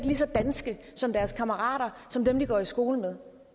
lige så danske som deres kammerater som dem de går i skole med og